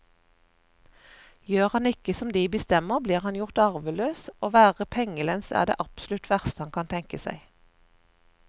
Gjør han ikke som de bestemmer, blir han gjort arveløs, og å være pengelens er det absolutt verste han kan tenke seg.